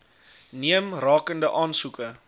neem rakende aansoeke